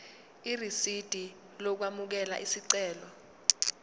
irisidi lokwamukela isicelo